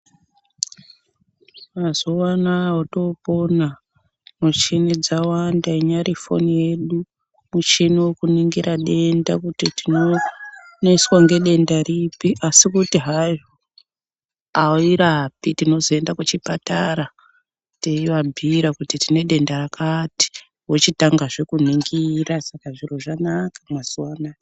Mazuva anawa otopona ,michini dzawanda .Irinyari foni yedu ,muchini wekuningira denda kuri tinoneswa ngedenda ripi asi kuti airapi .Tinozoenda kuchipatara teivabhiira kuti tine denda rakati vochitanga zve kuningirwa ,saka zviro zvanaka mazuva anaya.